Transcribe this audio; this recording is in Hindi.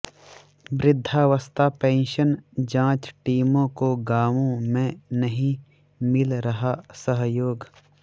वृद्धावस्था पेंशन जांच टीमों को गांवों में नहीं मिल रहा सहयोग